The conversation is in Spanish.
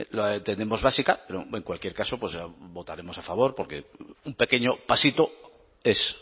la entendemos básica pero en cualquier caso pues votaremos a favor porque un pequeño pasito es